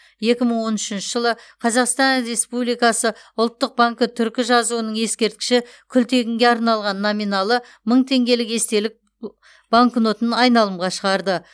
екі мың он үшінші жылы қазақстан республикасы ұлттық банкі түркі жазуының ескерткіші күлтегінге арналған номиналы мың теңгелік естелік банкнотын айналымға шығарды